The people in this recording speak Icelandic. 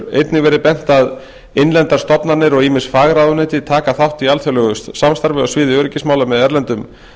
einnig verið bent að innlendar stofnanir og ýmis fagráðuneyti taka þátt í alþjóðlegu samstarfi á sviði öryggismála með erlendum